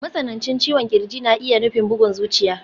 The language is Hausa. Matsanancin ciwon ƙirji na iya nufin bugun zuciya.